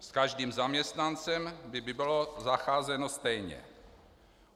S každým zaměstnancem by bylo zacházeno stejně.